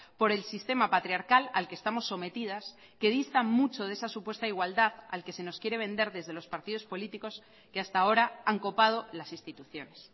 por el sistema patriarcal al que estamos sometidas que distan mucho de esa supuesta igualdad al que se nos quiere vender desde los partidos políticos que hasta ahora han copado las instituciones